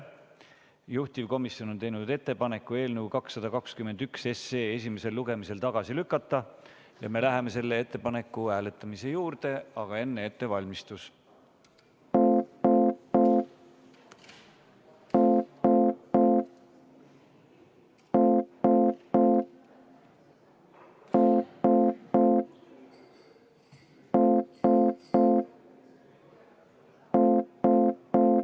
Juhtivomisjon on teinud ettepaneku eelnõu 221 esimesel lugemisel tagasi lükata ja me läheme selle ettepaneku hääletamise juurde, aga enne ettevalmistus.